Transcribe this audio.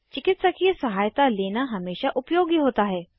चिकित्सकीय सहायता लेना हमेशा उपयोगी होता है